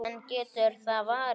En getur það varist?